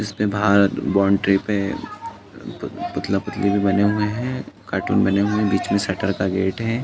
इसपे बाहर बाउंड्री पे पुतला-पुतली भी बने हुए है। कार्टून बने हुए है। बीच में शटर का गेट है।